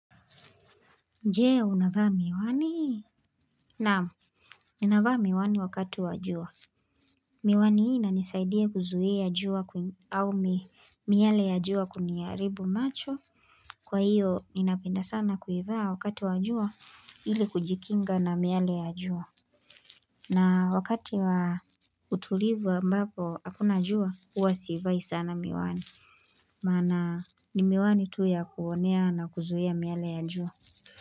Je, unavaa miwani? Naam, ninavaa miwani wakati wa jua. Miwani hii inanisaidia kuzuia jua au miale ya jua kuniaribu macho. Kwa hiyo, inapenda sana kuivaa wakati wa jua ili kujikinga na miale ya jua. Na wakati wa utulivu ambapo hakuna jua, huwa siivai sana miwani. Maana, ni miwani tu ya kuonea na kuzuia miale ya jua.